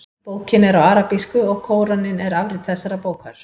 Bókin er á arabísku og Kóraninn er afrit þessarar bókar.